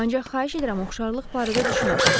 Ancaq xahiş edirəm oxşarlıq barədə düşünəsiz.